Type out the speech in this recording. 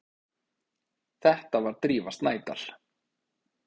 Þetta var Drífa Snædal.